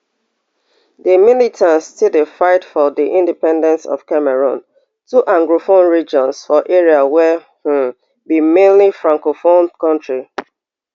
di militants still dey fight for di independence of cameroon two anglophone regions for area wey um be mainly francophone kontri